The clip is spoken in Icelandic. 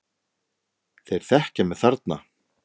Þeir þekkja mig þarna.